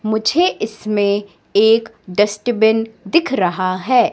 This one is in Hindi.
मुझे इसमें एक डस्टबिन दिख रहा है।